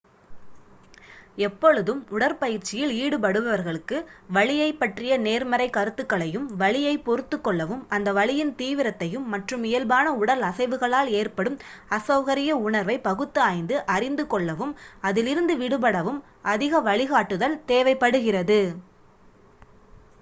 எப்பொழுதும் உடற்பயிற்சியில் ஈடுபடுபவர்களுக்கு வழியைப் பற்றிய நேர்மறை கருத்துக்களையும் வலியைப் பொறுத்துக் கொள்ளவும் அந்த வலியின் தீவிரத்தையும் மற்றும் இயல்பான உடல் அசைவுகளால் ஏற்படும் அசௌகரிய உணர்வை பகுத்து ஆய்ந்து அறிந்து கொள்ளவும் அதில் இருந்து விடுபடவும் அதிக வழிகாட்டுதல் தேவைப்படுகிறது